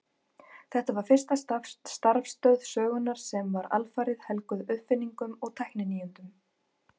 Þetta var fyrsta starfstöð sögunnar sem var alfarið helguð uppfinningum og tækninýjungum.